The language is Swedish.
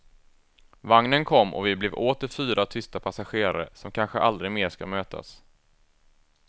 Vagnen kom och vi blev åter fyra tysta passagerare, som kanske aldrig mer ska mötas.